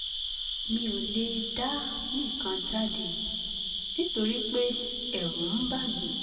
mi ò lè dá nìkan jáde nítorí pé ẹ̀rù ń bà mí